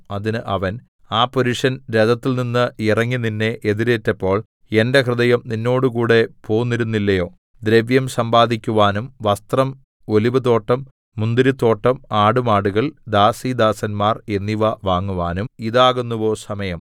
അതിന് അവൻ ആ പുരുഷൻ രഥത്തിൽനിന്ന് ഇറങ്ങി നിന്നെ എതിരേറ്റപ്പോൾ എന്റെ ഹൃദയം നിന്നോട് കൂടെ പോന്നിരുന്നില്ലയോ ദ്രവ്യം സമ്പാദിക്കുവാനും വസ്ത്രം ഒലിവുതോട്ടം മുന്തിരിത്തോട്ടം ആടുമാടുകൾ ദാസീദാസന്മാർ എന്നിവ വാങ്ങുവാനും ഇതാകുന്നുവോ സമയം